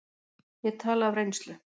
Ég tala af reynslu.